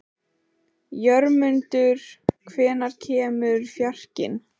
Jörmundur, hvenær kemur fjarkinn?